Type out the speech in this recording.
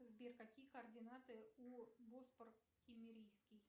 сбер какие координаты у боспор киммерийский